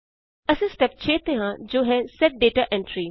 ਅਸੀਂ ਸਟੇਪ 6 ਤੇ ਹਾਂ ਜੋ ਹੈ ਸੇਟ ਦਾਤਾ ਐਂਟਰੀ